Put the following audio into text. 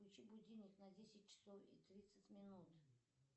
включи будильник на десять часов и тридцать минут